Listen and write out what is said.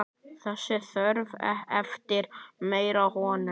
Þessi þörf eftir meiri hönnun.